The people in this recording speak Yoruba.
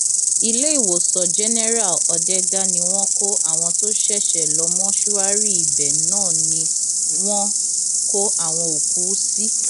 iléèwòsàn jẹnẹrà òdẹdà ni wọn kó àwọn tó ṣẹṣẹ lọ mọṣúárì ibẹ náà ni wọn kó àwọn òkú sí